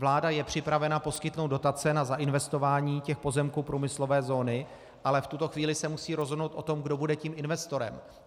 Vláda je připravena poskytnout dotace na zainvestování těch pozemků průmyslové zóny, ale v tuto chvíli se musí rozhodnout o tom, kdo bude tím investorem.